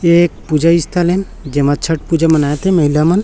ये एक पूजा स्थल है जेमा छठ पूजा मनाते महिला मन--